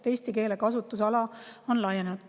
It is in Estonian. Eesti keele kasutusala on laienenud.